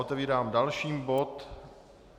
Otevírám další bod.